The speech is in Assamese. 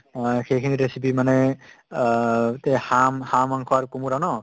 আহ সেইখিনি recipe মানে আহ তে হাম হাঁহ মাংস আৰু কুমুৰা ন?